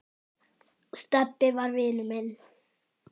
Stebbi var vinur minn.